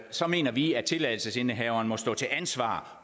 så mener vi at tilladelsesindehaveren må stå til ansvar